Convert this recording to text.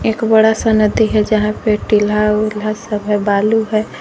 एक बड़ा सा नदी है जहां पे टील्हा उल्हा सब है बालू है।